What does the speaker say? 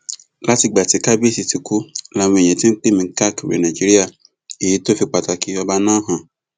látìgbà tí kábíyèsí ti kú làwọn èèyàn ti ń pè mí káàkiri nàìjíríà èyí tó fi pàtàkì ọba náà hàn